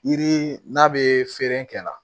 Yiri n'a bɛ feere kɛ la